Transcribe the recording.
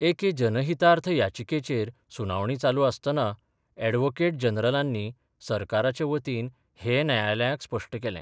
एके जनहीतार्थ याचिकेचेर सुनावणी चालू आसतना अॅडव्होकेट जनरलांनी सरकाराचे वतीन हें न्यायालयाक स्पश्ट केलें.